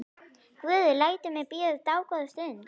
Guð lætur mig bíða dágóða stund.